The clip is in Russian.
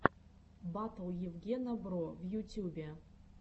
батл евгена бро в ютюбе